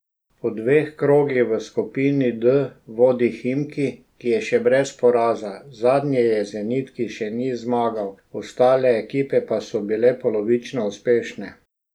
Po dveh krogih v skupini D vodi Himki, ki je še brez poraza, zadnji je Zenit, ki še ni zmagal, ostale ekipe pa so bile polovično uspešne.